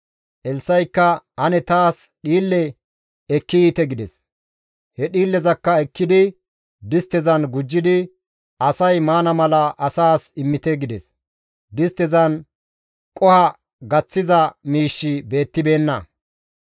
Elssa7ikka, «Ane taas dhiille ekki yiite» gides. He dhiillezakka ekkidi disttezan gujjidi, «Asay maana mala asaas immite» gides. Disttezan qoho gaththiza miishshi beettibeenna.